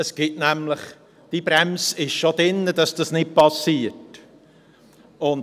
Die Bremse, damit dies nicht passiert, ist schon vorhanden: